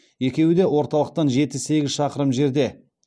екеуі де орталықтан жеті сегіз шақырым жерде